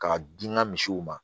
K'a di n ka misiw ma